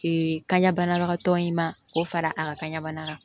kaɲa banabagatɔ in ma k'o fara a ka kan ɲa bana kan